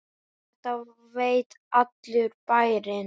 Og þetta veit allur bærinn?